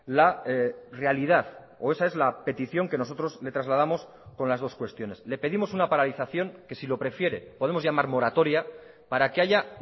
la realidad o esa es la petición que nosotros le trasladamos con las dos cuestiones le pedimos una paralización que si lo prefiere podemos llamar moratoria para que haya